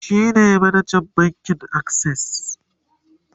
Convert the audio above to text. shine manajan bankin akses